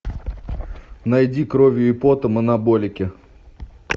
найди кровью и потом анаболики